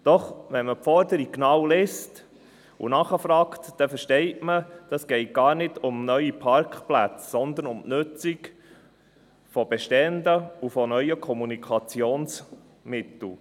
Doch wenn man die Forderung genau liest und nachfragt, versteht man, dass es gar nicht um neue, sondern um die Nutzung bestehender Parkplätze geht und um die Nutzung neuer Kommunikationsmittel.